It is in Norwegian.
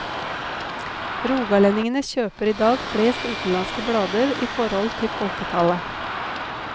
Rogalendingene kjøper i dag flest utenlandske blader i forhold til folketallet.